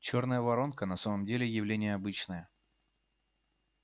чёрная воронка на самом деле явление обычное